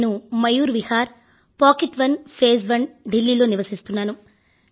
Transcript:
నేను మయూర్ విహార్ పాకెట్ 1 ఫేజ్1 ఢిల్లీ లో నివసిస్తున్నాను